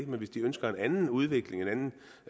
men hvis de ønsker en anden udvikling